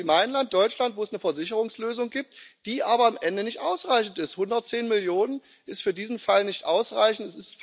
Wir haben Länder wie mein Land, Deutschland, wo es eine Versicherungslösung gibt, die aber am Ende nicht ausreichend ist 110 Millionen sind für diesen Fall nicht ausreichend.